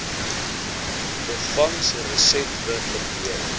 byvangs resetwe verdeel